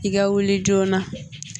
I ka wuli joona